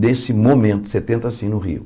Nesse momento, setenta sim, no Rio.